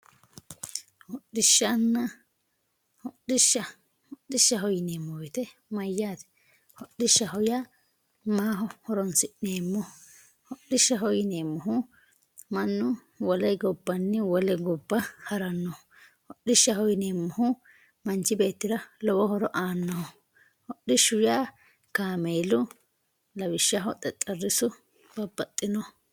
hodhishshaho yineemo woyiite mayaate hodhishshaho yaa maaho horonsi'neemoho hodhishshaho yineemohu mannu wole gabbanni wole gobba harannoho hodhishshaho yineemohu manch beettira lowo horo aannoho hodhishshaho yaa kaameelu lawishshaho xexerisu babbaxinoho